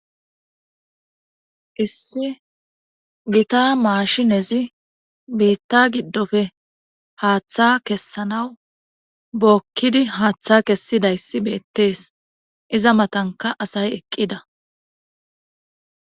issi gita maashinezi biitta giddofe haaththa kessanaw bookkidi haaththa kessidayssi beettees iza matanka asay eqqida